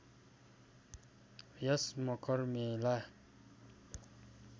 यस मकर मेला